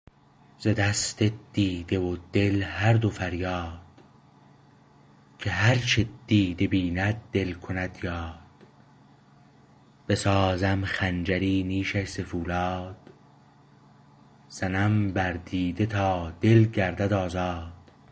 ز دست دیده و دل هر دو فریاد که هر چه دیده بیند دل کند یاد بسازم خنجری نیشش ز پولاد زنم بر دیده تا دل گردد آزاد